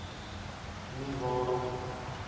nie waarom nie